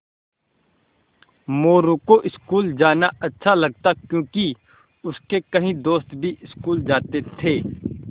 मोरू को स्कूल जाना अच्छा लगता क्योंकि उसके कई दोस्त भी स्कूल जाते थे